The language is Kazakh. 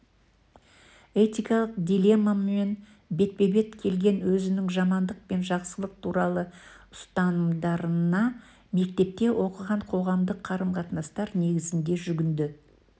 этикалық дилеммамен бетпе-бет келген өзінің жамандық пен жақсылық туралы ұстанымдарына мектепте оқыған қоғамдық қарым-қатынастар негізіне жүгінді